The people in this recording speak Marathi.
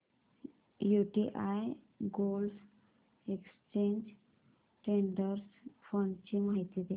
UTI gold exchange traded fund ची माहिती दे